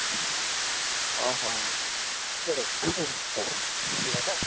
ଅଁ ହୋ କେବେ